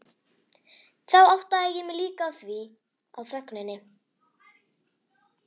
Þá áttaði ég mig líka á þögninni.